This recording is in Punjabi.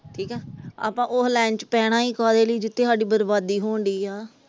ਠੀਕਾ ਆਪਾ ਉਸ ਲਾਈਨ ਚ ਪਹਿਣਾ ਈ ਕਾਹਦੇ ਲਈ ਜਿੱਥੇ ਸਾਡੀ ਬਰਬਾਦੀ ਹੋਣ ਦੀ ਆ ।